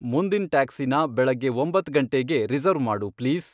ಮುಂದಿನ್ ಟ್ಯಾಕ್ಸೀನ ಬೆಳಗ್ಗೆ ಒಂಬತ್ತ್ ಗಂಟೇಗೆ ರಿಸರ್ವ್ ಮಾಡು ಪ್ಲೀಸ್